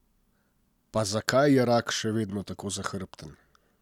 Pa zakaj je rak še vedno tako zahrbten?